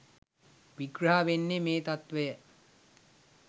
විග්‍රහ වෙන්නේ මේ තත්ත්වය.